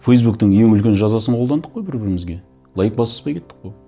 фейсбуктың ең үлкен жазасын қолдандық қой бір бірімізге лайк басыспай кеттік қой